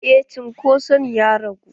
Eh cunkoso ɗin ya ragu.